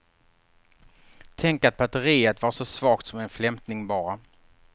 Tänk att batteriet var så svagt, som en flämtning bara.